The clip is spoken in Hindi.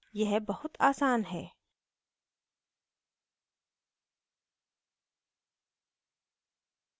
यह बहुत आसान है